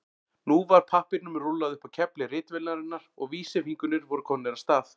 Nú var pappírnum rúllað upp á kefli ritvélarinnar og vísifingurnir voru komnir af stað.